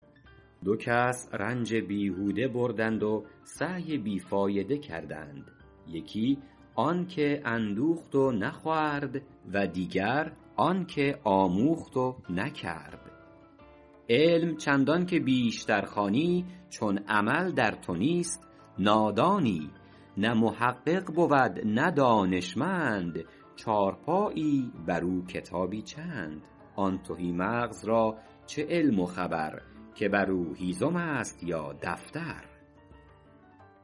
دو کس رنج بیهوده بردند و سعی بی فایده کردند یکی آن که اندوخت و نخورد و دیگر آن که آموخت و نکرد علم چندان که بیشتر خوانی چون عمل در تو نیست نادانی نه محقق بود نه دانشمند چارپایی بر او کتابی چند آن تهی مغز را چه علم و خبر که بر او هیزم است یا دفتر